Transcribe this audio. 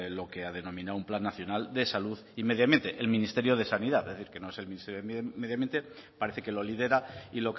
lo que ha denominado un plan nacional de salud y medio ambiente el ministerio de sanidad es decir que no es el ministerio de medio ambiente parece que lo lidera y